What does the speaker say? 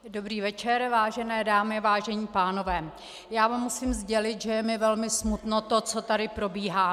Dobrý večer vážené dámy, vážení pánové, já vám musím sdělit, že je mi velmi smutno, to, co tady probíhá.